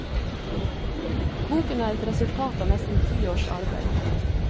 Boken er et resultat av nesten ti års arbeid.